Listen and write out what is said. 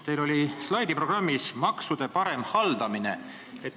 Teil oli slaidiprogrammis vajadusena kirjas maksude parem haldamine.